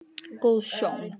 Góð sjón